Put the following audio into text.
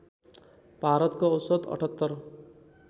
भारतको औसत ७८